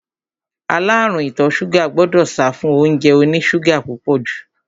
Aláàrúùn ìtọ ṣúgà gbọdọ̀ sáfún óúnjẹ oní ṣúgà púpọ̀ jù.